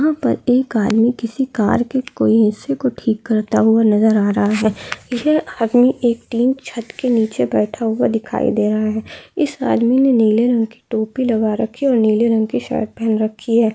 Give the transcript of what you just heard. यहाँ पर एक आदमी किसी कार के कोई हिस्से को ठीक करता हुआ नज़र आ रहा है यह आदमी एक टीन छत के नीचे बैठा हुआ दिखाई दे रहा है इस आदमी ने नीले रंग की टोपी लगा रखी और नील रंग की शर्ट पहन रखी हैं।